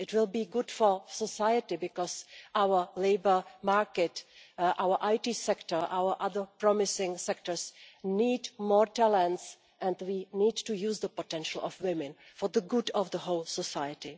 it will be good for society, because our labour market, our IT sector, our other promising sectors need more talents and we need to use the potential of women for the good of the whole society.